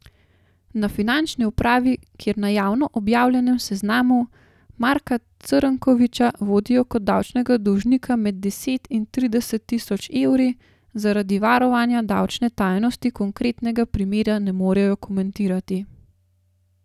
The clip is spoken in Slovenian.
Na finančni upravi, kjer na javno objavljenem seznamu Marka Crnkoviča vodijo kot davčnega dolžnika med deset in trideset tisoč evri, zaradi varovanja davčne tajnosti konkretnega primera ne morejo komentirati.